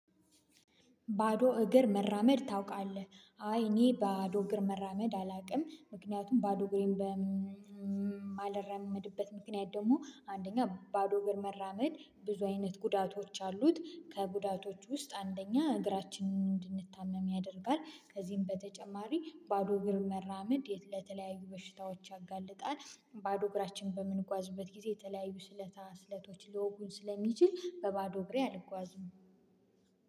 ባዶ እግር መራመድ ታውቃለህ? አይ እኔ ባዶ እግር መራመድ አላውቅም። ምክንያቱም ባዶ እግሬን በማልራመድበት ምክንያት ደግሞ አንደኛ ባዶ እግር መራመድ ብዙ አይነት ጉዳቶች አሉት። ከጉዳቶቹ ውስጥ አንደኛ እግራችንን እንድንታመም ያደርጋል። ከዚህም በተጨማሪ ባዶ እግር መራመድ ለተለያዩ በሽታዎች ያጋልጣል። ባዶ እግራችን በምንጓዝበት ጊዜ የተለያዩ ስለታ ስለቶች ሊወጉን ስለሚችል በባዶ እግሬ አልጓዝም።